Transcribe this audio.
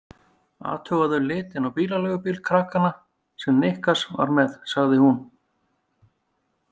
Athugaðu litinn á bílaleigubíl krakkanna sem Niklas var með, sagði hún.